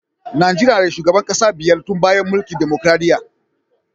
Najeriya na da shugaban kasa biyar tun bayan mulkin dimokuradiyya.